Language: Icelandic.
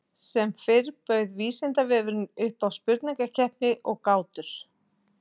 með stjörnusjónauka sést að hún er greinilega ein fallegasta kúluþyrping himinsins